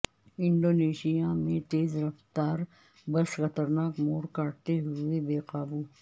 Indonesia میں تیز رفتار بس خطرناک موڑ کاٹتے ہوئے بے قابو